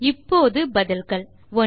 இப்போது பதில்கள் 1